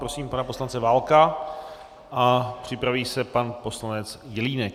Prosím pana poslance Válka a připraví se pan poslanec Jelínek.